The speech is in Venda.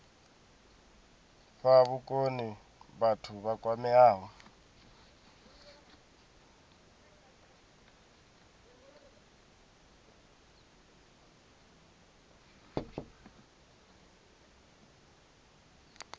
fha vhukoni vhathu vha kwameaho